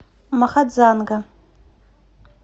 махадзанга